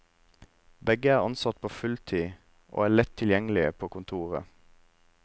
Begge er ansatte på fulltid, og er lett tilgjengelige på kontoret.